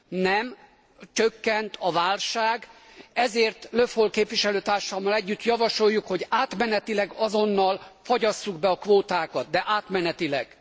Nem csökkent a válság, ezért Le Foll képviselőtársammal együtt javasoljuk, hogy átmenetileg azonnal fagyasszuk be a kvótákat, de átmenetileg.